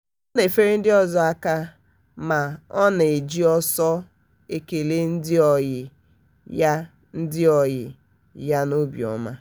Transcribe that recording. ọ na-efere ndị ọzọ aka mana ọ na-eji ọsọ ekele ndị ọyị ya ndị ọyị ya n'obiọma.